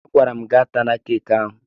Agwara m gị atala keeki ahụ!